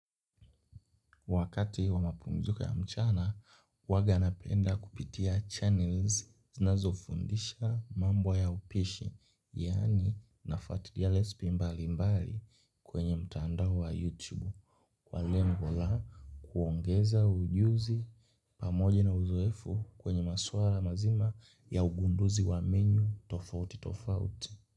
Wakati wa mapumziko ya mchana, huaga napenda kupitia channels zinazofundisha mambo ya upishi, yani nafautilia lespi mbali mbali kwenye mtandao wa YouTube. Kwa lengo la kuongeza ujuzi pamoja na uzoefu kwenye masuala mazima ya ugunduzi wa menu tofauti tofauti.